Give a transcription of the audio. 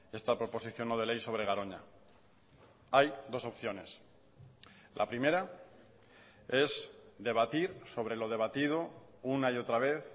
esta proposición no de ley sobre garoña hay dos opciones la primera es debatir sobre lo debatido una y otra vez